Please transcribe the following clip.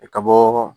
I ka bɔ